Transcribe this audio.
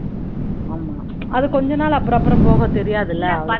ஆமாம் அது கொஞ்ச நாள் அப்புறம் அப்புறம் போக தெரியாது இல்லை